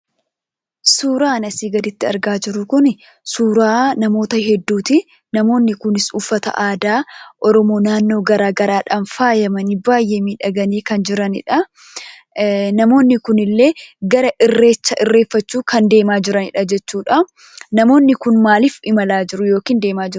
Suuraan asii gaditti argaa jirru kuni suuraa namoota hedduutii. Namoonni kunis uffata aadaa Oromoo naannoo garaagaraadhaan faayamanii baay'ee miidhaganii kan jiranidhaa. Namoonni kunillee gara irreecha irreefachuu kan deemaa jiranidha jechuudhaa. Namoonni kun maalif imalaa jiru yookin deemaa jiru?